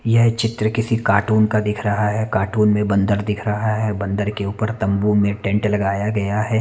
यह चित्र किसी कार्टून का दिख रहा है कार्टून में बंदर दिख रहा है बंदर के ऊपर तम्बू में टेंट लगाया गया है।